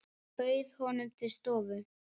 Ég bauð honum til stofu.